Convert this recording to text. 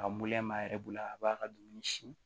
A m'a yɛrɛ bolo a b'a ka dumuni si